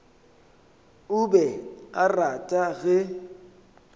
o be a rata ge